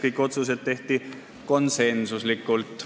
Kõik otsused tehti konsensuslikult.